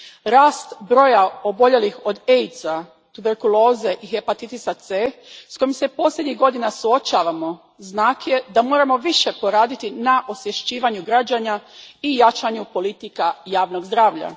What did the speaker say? Rast broja oboljelih od AIDS a, tuberkuloze i hepatitisa C s kojim se posljednjih godina suočavamo znak je da moramo više poraditi na osvješćivanju građana i jačanju politika javnog zdravlja.